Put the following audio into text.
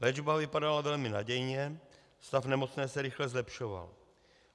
Léčba vypadala velmi nadějně, stav nemocné se rychle zlepšoval.